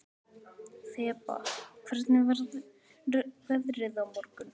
Þeba, hvernig verður veðrið á morgun?